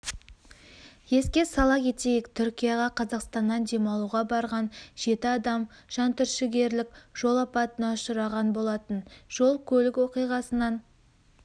еске сала кетейік түркияға қазақстаннан демалуға барған жеті адам жантүршігерлік жол апатына ұшыраған болатын жол-көлік оқиғасынан